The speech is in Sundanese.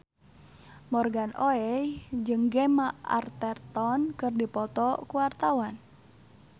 Morgan Oey jeung Gemma Arterton keur dipoto ku wartawan